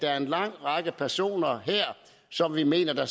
er en lang række personer som vi mener